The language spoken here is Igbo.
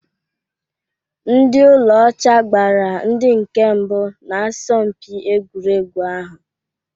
Ndị ụlọ ọcha gbara ndị nke mbụ na asọmpi egwuregwu ahụ